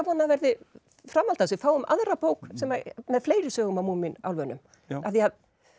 það verði framhald að við fáum aðra bók með fleiri sögum af Múmínálfunum af því